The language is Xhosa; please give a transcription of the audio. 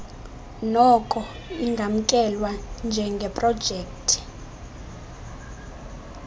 noko ingamkelwa njengeprojekthi